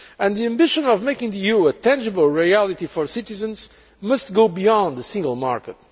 The ambition of making the EU a tangible reality for citizens must go beyond the single market.